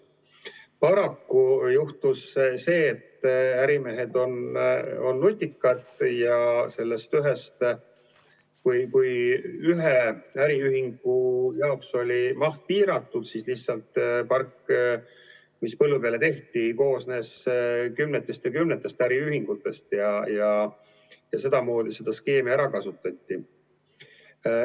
Paraku juhtus see, et ärimehed on nutikad ja kui ühe äriühingu jaoks oli maht piiratud, siis lihtsalt park, mis põllu peale tehti, koosnes kümnetest ja kümnetest äriühingutest ja seda skeemi kasutati ära.